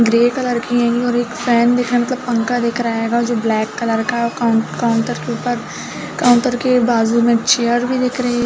Grey colour की हेंगी और एक फैन दिख रहा मतलब पंखा दिख रहा हेंगा जो ब्लैक कलर का है और कौन काउंटर के ऊपर काउंटर के बाजु में चेयर भी दिख रही हैं ।